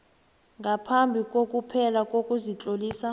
ngaphambi kokuphela kokuzitlolisa